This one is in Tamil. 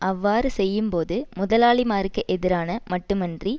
அவ்வாறு செய்யும் போது முதலாளிமாருக்கு எதிரான மட்டுமன்றி